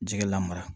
Jɛgɛ la mara